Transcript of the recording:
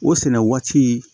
O sɛnɛ waati